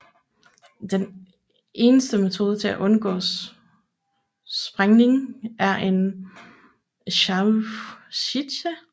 Eneste metode til at undgå sprængning er en Scharfschütze